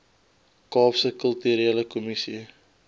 kaapse kulturele kommissie